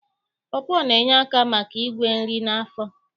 Pọpọ na-enye aka maka igwe nri n'afọ